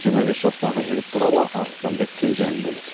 жиырма бес жастағы жігіт туралы арыстанбек кенже әңгімелейді